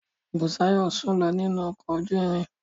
Busayo sùn lọ nínú ọkọ̀ ojú irin.